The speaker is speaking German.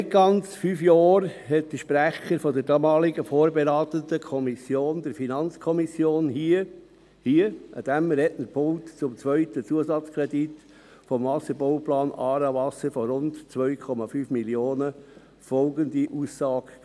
Vor nicht ganz fünf Jahren machte der Sprecher der damaligen vorberatenden Kommission, der FiKo, zum zweiten Zusatzkredit für den Wasserbauplan «Aarewasser» von rund 2,5 Mio. Franken hier an diesem Rednerpult folgende Aussage;